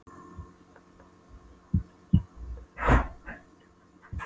Standa upp og fara og hreinsa heldur til í frystinum.